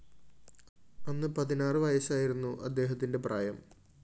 അന്ന് പതിനാറ് വയസായിരുന്നു അദ്ദേഹത്തിന്റെ പ്രായം